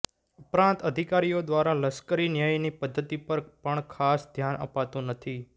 ઉપરાંત અધિકારીઓ દ્વારા લશ્કરી ન્યાયની પધ્ધતિ પર પણ ખાસ ધ્યાન અપાતું નથી